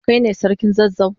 Kai ne sarkin zazzau?